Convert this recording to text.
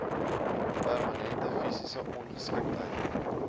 permanente fisiese ongeskiktheid